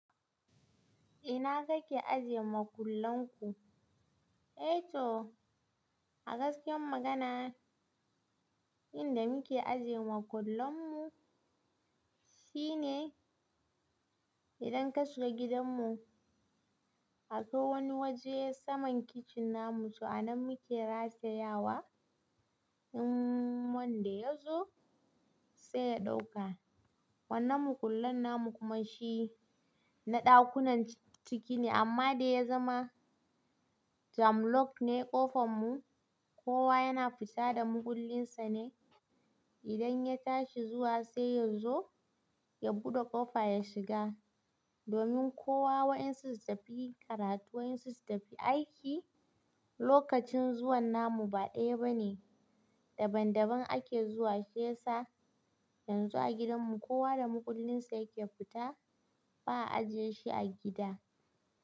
Ina kake ajiye makullanku? Eh to a gaskiyar magana inda muke ajiye makullanmu shi ne idan ka shiga gidanmu akwai wani waje saman kitchen namu so a nan muke ratayawa in wanda ya zo sai ya ɗauka. Wannan makullan namu kuma shi na ɗakunan ciki ne amma da ya zama jam lock ne ƙofanmu. Kowa yana fita da makullinsa ne idan ya tashi zuwa sai yazo ya buɗe ƙofa ya shiga. Domin kowa waƴansu su tafi karatu waƴansu su tafi aiki lokacin zuwan namu ba ɗaya bane daban-daban ake zuwa shi yasa yanzu a gidanmu kowa da makullinsa yake fita ba'a ajiye shi a gida.